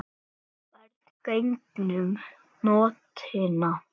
Ferð gegnum nóttina